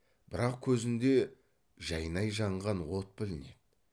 бірақ көзінде жайнай жанған от білінеді